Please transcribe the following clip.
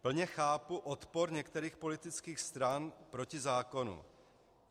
Plně chápu odpor některých politických stran proti zákonu.